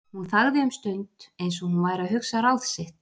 Hún þagði um stund, eins og hún væri að hugsa ráð sitt.